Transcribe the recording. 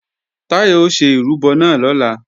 Táyọ̀ ó ṣe ìrúbọ náà lọ́la